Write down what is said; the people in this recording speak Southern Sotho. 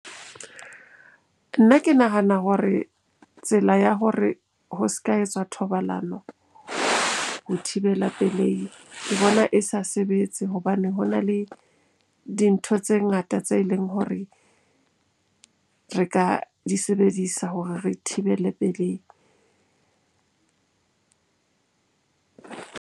Nna ke nahana hore tsela ya hore ho s'ka etsa thobalano ho thibela pelehi, ke bona e sa sebetse. Hobane ho na le dintho tse ngata tse leng hore re ka di sebedisa hore re thibele pelehi.